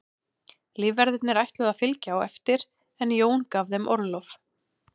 Lífverðirnir ætluðu að fylgja á eftir en Jón gaf þeim orlof.